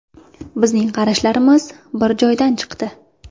Bizning qarashlarimiz bir joydan chiqdi.